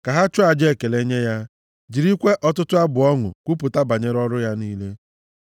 Ka ha chụọ aja ekele nye ya jirikwa ọtụtụ abụ ọṅụ kwupụta banyere ọrụ ya niile.